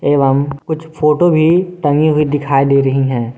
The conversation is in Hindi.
एवं कुछ फोटो भी टंगे हुए दिखाई दे रही हैं।